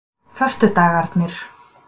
föstudagarnir